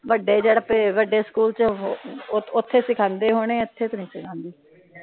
ਵੱਡੇ ਜਿਹੜੇ ਵੱਡੇ ਸਕੂਲ ਚ ਉੱਥੇ ਸਿਖਾਉਂਦੇ ਹੋਣੇ ਆ ਇਥੇ ਤਾ ਨਹੀਂ ਸਿਖਾਂਦੇ